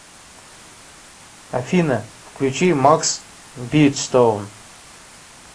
афина включи макс битстоун